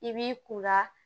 I b'i kun la